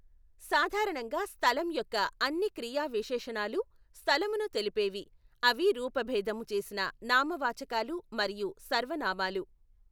సాధారణంగా స్థలం యొక్క అన్ని క్రియా విశేషణాలు స్థలమును తెలిపేవి, అవి రూపభేధము చేసిన నామవాచకాలు మరియు సర్వనామాలు.